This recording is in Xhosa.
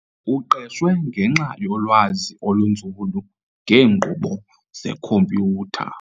Uqeshwe ngenxa yolwazi olunzulu ngeenkqubo zekhompyutha.